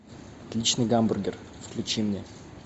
отличный гамбургер включи мне